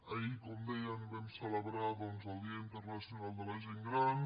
ahir com deien vam celebrar doncs el dia internacional de la gent gran